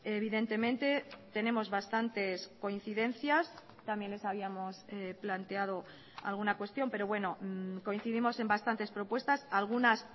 evidentemente tenemos bastantes coincidencias también les habíamos planteado alguna cuestión pero bueno coincidimos en bastantes propuestas algunas